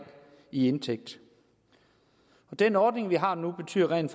i indtægt den ordning vi har nu betyder rent